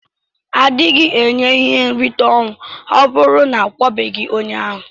Adighi enye ihe nrita na ọnwụ ọburu na akwabeghi onye ahu.